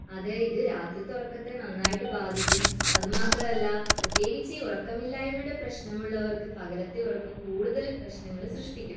അതെ ഇത് രാത്രിയത്തെ ഉറക്കത്തെ നന്നായി ബാധിക്കും അത് മാത്രമല്ല പ്രത്യേകിച്ച് ഈ ഉറക്കമില്ലായ്മയുടെ പ്രശ്നം ഉള്ളവർക്ക് പകലത്തെ ഉറക്കം കൂടുതൽ പ്രശ്നം സൃഷ്ടിക്കും